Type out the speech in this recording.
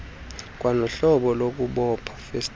kwanohlobo lokuboba festile